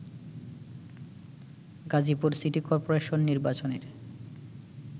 Gazipur city corporation নির্বাচনের